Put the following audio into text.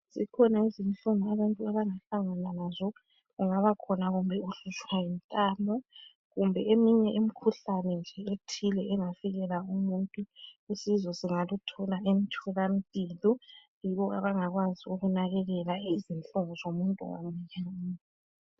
Zikhona izinhlungu abantu abangahlangana lazo. Kungabakhona kumbe ukuhlutshwa yintamo. Kumbe eminye imikhuhlane nje ethile engafikela umuntu. Usizo singaluthola emtholampilo. Yibo abangabakwazi ukunakekela, izinhlungu zomuntu wonke.